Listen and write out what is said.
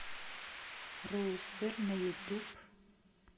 рустер на ютуб